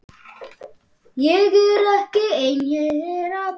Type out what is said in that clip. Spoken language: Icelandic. Ég er ekki ein þeirra.